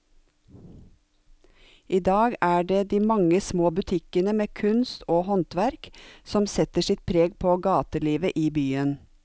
I dag er det de mange små butikkene med kunst og håndverk som setter sitt preg på gatelivet i byen.